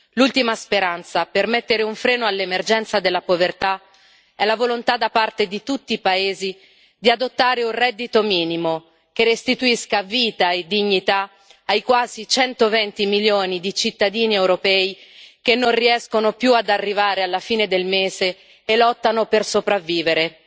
L'ultima speranza per mettere un freno all'emergenza della povertà è la volontà da parte di tutti i paesi di adottare un reddito minimo che restituisca vita e dignità ai quasi 120 milioni di cittadini europei che non riescono più ad arrivare alla fine del mese e lottano per sopravvivere.